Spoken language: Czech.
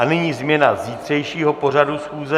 A nyní změna zítřejšího pořadu schůze.